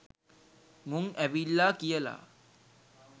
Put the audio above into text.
මුං ඇවිල්ලා කියලා.